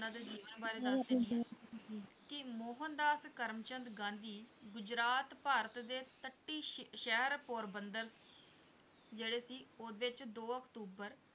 ਇਹਨਾਂ ਦੇ ਜੀਵਨ ਬਾਰੇ ਦੱਸ ਦੇਨੀ ਹੈ ਕਿ ਮੋਹਨ ਦਾਸ ਕਰਮ ਚੰਦ ਗਾਂਧੀ ਗੁਜਰਾਤ ਭਾਰਤ ਦੇ ਤਟੀ ਸ਼ਹਿਰ ਪੋਰਬੰਦਰ ਜਿਹੜੇ ਸੀ ਉਹਦੇ ਚ ਦੋ ਅਕਤੁਬਰ